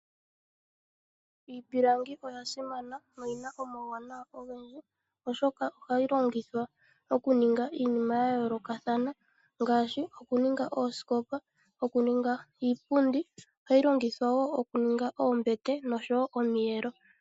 Iipilangi oya simana oyi na omawuwanawa ogendji oshoka ohayi longithwa okuninga iinima ya yoolokathana ngaashi okuninga oosikopa, okuninga iipundi ohayi longithwa wo okuninga oombete oshowo omiyelo.